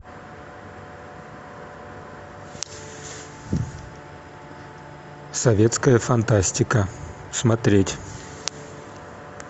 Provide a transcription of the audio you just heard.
советская фантастика смотреть